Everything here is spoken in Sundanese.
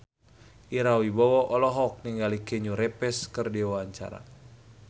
Ira Wibowo olohok ningali Keanu Reeves keur diwawancara